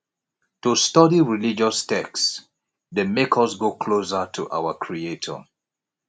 to study religious text de make us go closer to our creator